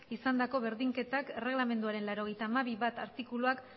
izandako berdinketak erregelamenduaren laurogeita hamabi puntu bat artikuluak